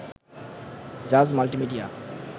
Jaaz multimedia